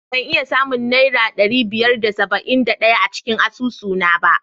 Ban iya samun Naira ɗari biyar da saba'in da ɗaya a cikin asusuna ba.